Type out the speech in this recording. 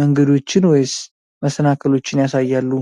መንገዶችን ወይስ መሰናክሎችን ያሳያሉ?